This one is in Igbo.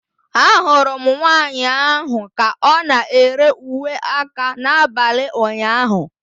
Ahụrụ m nwanyị ahụ ka ọ na-ere uwe aka n'abalị ụnyaahụ.